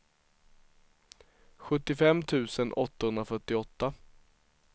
sjuttiofem tusen åttahundrafyrtioåtta